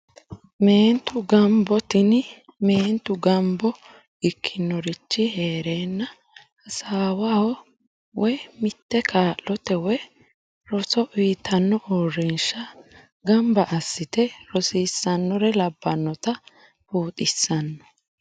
Meentu gambo, tini meenitu gambo ikkinorich heerenna hasawaho woyi mite kaalotte woyi roso uuyitanno uurinsha gamba asite rossisanore labanotta biuxxissano